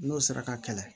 N'o sera ka kɛlɛ